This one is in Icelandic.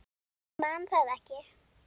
Man það ekki.